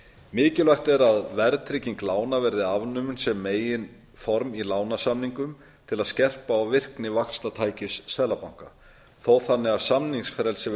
mikilvægt er að verðtrygging lána verði afnumin sem meginform í lánasamningum til að skerpa á virkni vaxtatækis seðlabanka þó þannig að samningsfrelsi